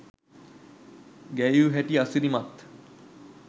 ගැයූ හැටි අසිරිමත්